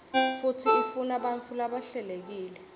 futsi ifunabantfu labahlelekile